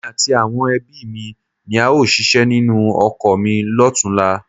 Èmi àti àwọn ẹbí mi ni a óò ṣíṣe nínú oko mi lọ́tunla